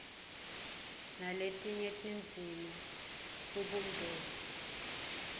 naletinye tindzima kubumbene